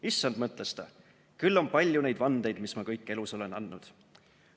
Issand, mõtles ta, küll on palju neid vandeid, mis ma kõik elus olen andnud!